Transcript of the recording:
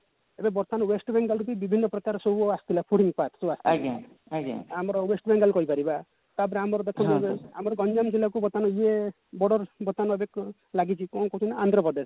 ଏବେ ବର୍ତମାନ west bengal ରୁ ବି ବିଭିନ୍ନ ପ୍ରକାର ସବୁ ଆସିଥିଲା fooding part ସବୁ ଆସିଥିଲା ଆମର west bengal କହିପାରିବା ତାପରେ ଆମର ଦେଖନ୍ତୁ ଆମର ଗଞ୍ଜାମ ଜିଲାକୁ ବର୍ତମାନ ଇଏ border ବର୍ତମାନ ଏବେ ଲାଗିଛି କଣ କହୁଛନ୍ତି ଆନ୍ଧ୍ରପ୍ରଦେଶ